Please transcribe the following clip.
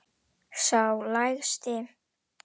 Sá lægsti.